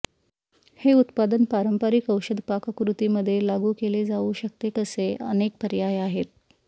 हे उत्पादन पारंपारिक औषध पाककृती मध्ये लागू केले जाऊ शकते कसे अनेक पर्याय आहेत